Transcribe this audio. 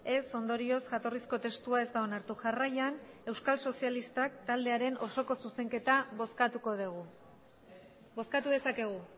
ez ondorioz jatorrizko testua ez da onartu jarraian euskal sozialistak taldearen osoko zuzenketa bozkatuko dugu bozkatu dezakegu